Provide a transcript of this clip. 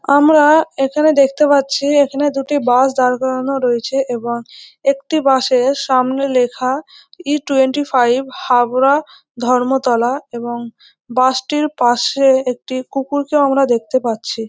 আমরা এখানে দেখতে পাচ্ছি এখানে দুটি বাস দাঁড় করানো রয়েছে এবং একটি বাস এর সামনে লেখা E twenty five Habra Dharmatala এবং বাস টির পাশে একটি কুকুরকে আমরা দেখতে পাচ্ছি।